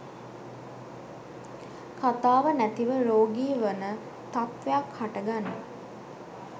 කථාව නැතිව රෝගී වන තත්ත්වයක් හටගනී